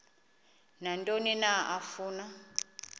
nantoni na afuna